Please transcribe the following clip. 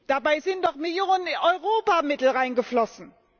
Dabei sind doch Millionen europäischer Mittel reingeflossen.